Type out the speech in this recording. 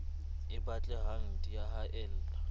e batle hang di haella